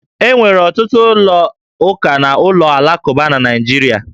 E nwere ọtụtụ ụlọ ụka na ụlọ alakụba na Naịjirịa